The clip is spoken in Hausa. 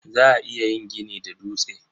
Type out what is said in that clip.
Za a iya yin gini da dutse.